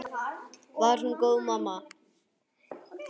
Var hún góð mamma?